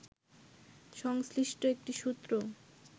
সংশ্লিষ্ট একটি সূত্র